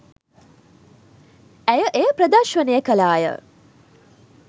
ඇය එය ප්‍රදර්ශනය කළාය.